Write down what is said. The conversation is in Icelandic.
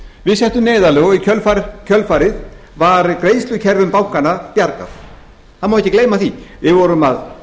við settum neyðarlög og í kjölfarið var greiðslukerfum bankanna bjargað það má ekki gleyma því við vorum að